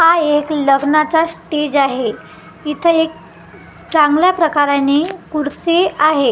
हा एक लग्नाचा स्टेज आहे इथं एक चांगल्या प्रकाराने कुड्सी आहे हि--